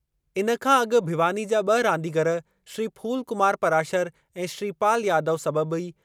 इन खां अॻु भिवानी जा ब॒ रांदीगरु, श्री फूल कुमार पराशर ऐं श्रीपाल यादव